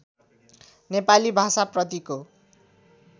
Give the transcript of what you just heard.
नेपाली भाषा प्रतिको